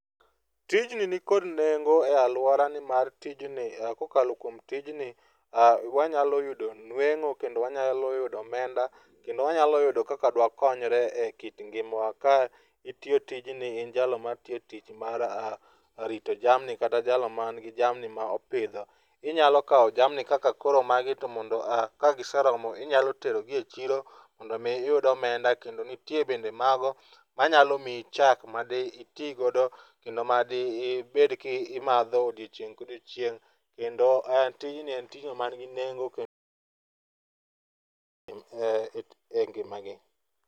Tijni nikod nengo e aluora nimar tijni kokalo kuom tijni ,aah, wanyalo yudo nweng'o kendo wanyalo yudo omenda kendo wanyalo yudo kaka dwakonyre ekit ngima wa. Ka itiyo tijni in jalno matiyo tich mar rito jamni kata jalo man gi jamni ma opidho, inyalo kawo jamni kaka koro magi to ka giseromo to inyalo terogi e chiro mondo iyud omenda kendo nitie bende mago manyalo miyi chak madi iti godo kendo madi ibed ki imadho odiochieng ka odiocineg. Kendo tijnki en tijno manigi nengo kendo e ngima gi